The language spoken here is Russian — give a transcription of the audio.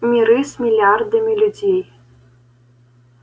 миры с миллиардами людей